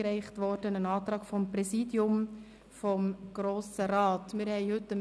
Neu ist ein Antrag des Präsidiums des Grossen Rates eingereicht worden.